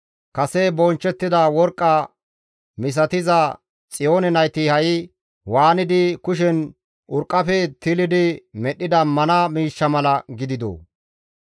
Kase bonchchettida worqqa misatiza Xiyoone nayti ha7i waanidi kushen urqqafe tilidi medhdhida mana miishsha mala gididoo!